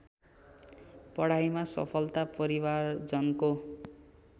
पढाइमा सफलता परिवारजनको